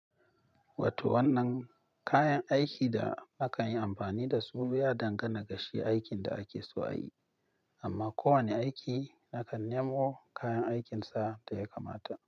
Wato wannan kayan aikin da aka yi amfani da su ya dangana kashi aikin da ake so a yi, amma kowane aiki nakan nemo kayan aikinsa ta ya kamata.